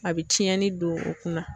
A bɛ tiɲɛni don u kunna.